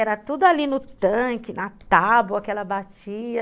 Era tudo ali no tanque, na tábua que ela batia.